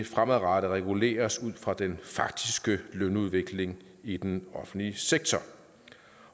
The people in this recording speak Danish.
fremadrettet reguleres ud fra den faktiske lønudvikling i den offentlige sektor